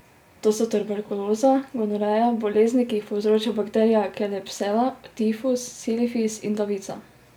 To so tuberkuloza, gonoreja, bolezni, ki jih povzroča bakterija klebsiella, tifus, sifilis in davica.